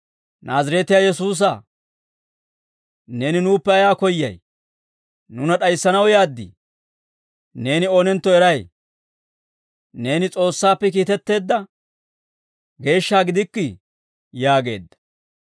«Naazireetiyaa Yesuusaa, Neeni nuuppe ayaa koyyay? Nuuna d'ayissanaw yaad? Neeni oonentto eray; neeni S'oossaappe kiitetteedda geeshsha gidikkii!» yaageedda.